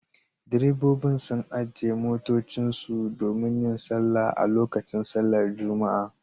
Direbobin sun ajiye motocinsu domin yin sallah a lokacin sallar Juma'a